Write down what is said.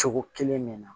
Cogo kelen min na